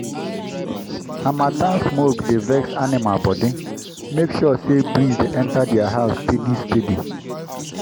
harmattan smoke dey vex animal body—make sure say breeze dey enter their house steady-steady.